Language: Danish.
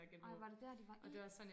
Ej var det der de var i?